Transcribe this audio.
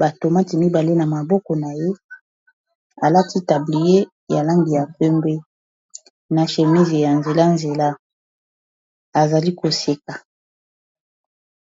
batomati mibale na maboko na ye alaki tablier ya langi ya kwembe na chemise ya nzela-nzela azali koseka